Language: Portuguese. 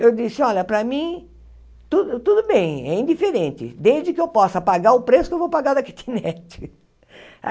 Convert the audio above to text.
Eu disse, olha, para mim tudo tudo bem, é indiferente, desde que eu possa pagar o preço que eu vou pagar da kitnet.